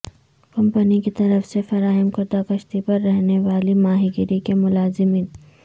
company کی طرف سے فراہم کردہ کشتی پر رہنے والی ماہی گیری کے ملازمین